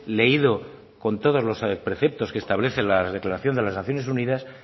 leído con todos los preceptos que establece la declaración de las naciones unidas